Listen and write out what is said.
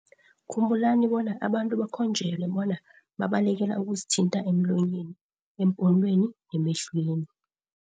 Khumbulani bona abantu bakhonjelwe bona babalekela ukuzithinta emlonyeni, epumulweni nemehlweni.